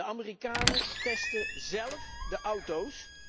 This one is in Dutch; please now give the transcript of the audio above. De Amerikanen testen zelf de auto's.